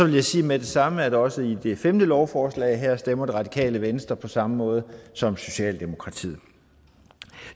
jeg sige med det samme at også ved det femte lovforslag her stemmer radikale venstre på samme måde som socialdemokratiet